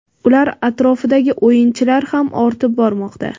ular atrofidagi "o‘yinchi"lar ham ortib bormoqda.